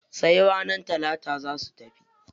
Sai ranar talata za su tafi.